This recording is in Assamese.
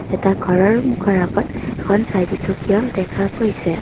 এখন ঘৰৰ গৰকত এখন চাৰিচকীয়াও দেখা গৈছে।